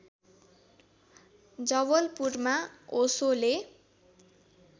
जवलपुरमा ओशोले